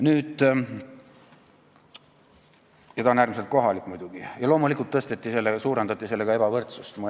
See on äärmiselt kohalik muidugi ja loomulikult suurendati selle reformiga ebavõrdsust.